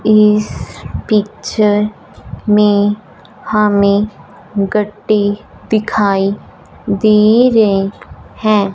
इस पिक्चर में हमें गट्टी दिखाई दे रही हैं।